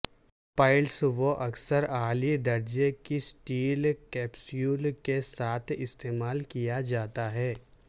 pellets وہ اکثر اعلی درجے کی سٹیل کیپسول کے ساتھ استعمال کیا جاتا ہے